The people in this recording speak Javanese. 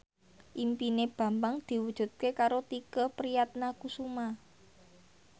impine Bambang diwujudke karo Tike Priatnakusuma